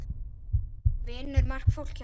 Vinnur margt fólk hjá ykkur?